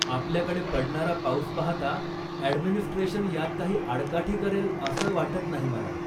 आपल्याकडे पडणारा पाऊस पाहता, ॲडमिनिस्ट्रेशन यात काही आडकाठी करेल असं वाटत नाही मला.